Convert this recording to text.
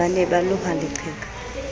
ba ne ba loha leqheka